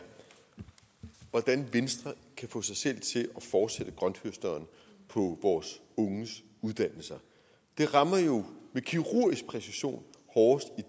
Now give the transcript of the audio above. hvordan venstre kan få sig selv til at fortsætte grønthøsteren på vores unges uddannelser det rammer jo med kirurgisk præcision hårdest